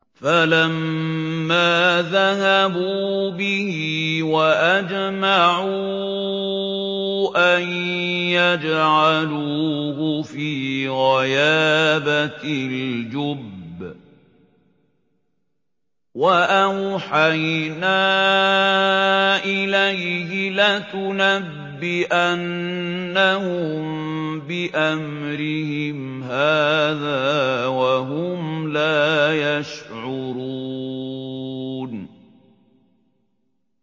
فَلَمَّا ذَهَبُوا بِهِ وَأَجْمَعُوا أَن يَجْعَلُوهُ فِي غَيَابَتِ الْجُبِّ ۚ وَأَوْحَيْنَا إِلَيْهِ لَتُنَبِّئَنَّهُم بِأَمْرِهِمْ هَٰذَا وَهُمْ لَا يَشْعُرُونَ